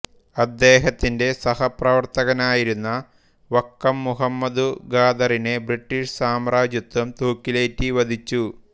അദ്ദേഹത്തിന്റെ സഹപ്രവർത്തകനായിരുന്ന വക്കം മുഹമ്മദു ഖാദറിനെ ബ്രട്ടീഷ് സാമ്രജ്യത്വം തൂക്കിലേറ്റി വധിച്ചു